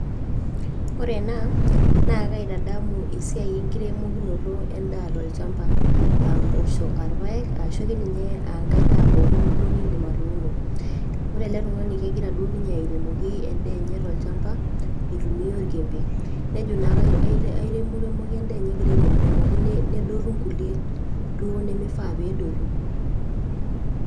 Wore enaa naa kaitadamu esiai enkiremokinoto endaa tolchamba, aa impoosho aa irpaek ashu ake ninye ankae daa pookin niindim atuuno. Wore ele tungani kekira duo ninye airemoki endaa enye tolchamba aitumia orkiembe, nejo naake aireremoki endaa enye ekira airemoki nedotu inkulie duo nimifaa peedotu.